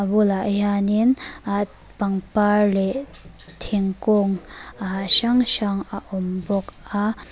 a bulah hianin ah pangpar leh thingkung ah hrang hrang a awm bawk a.